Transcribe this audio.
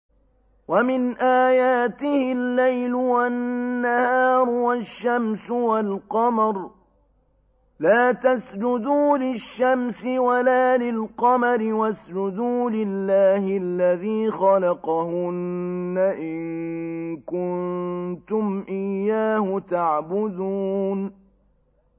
وَمِنْ آيَاتِهِ اللَّيْلُ وَالنَّهَارُ وَالشَّمْسُ وَالْقَمَرُ ۚ لَا تَسْجُدُوا لِلشَّمْسِ وَلَا لِلْقَمَرِ وَاسْجُدُوا لِلَّهِ الَّذِي خَلَقَهُنَّ إِن كُنتُمْ إِيَّاهُ تَعْبُدُونَ